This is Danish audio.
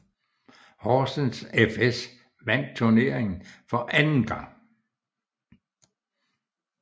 Horsens fS vandt turneringen for anden gang